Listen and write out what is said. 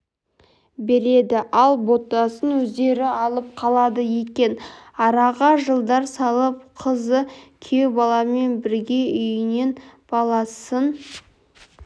береді ал ботасын өздері алып қалады екен араға жылдар салып қызы күйеубаламен бірге үйіне баласын